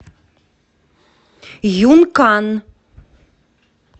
юнкан